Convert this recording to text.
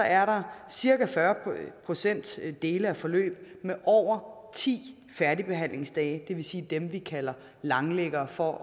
er cirka fyrre procent dele af forløb med over ti færdigbehandlingsdage det vil sige dem vi kalder langliggere for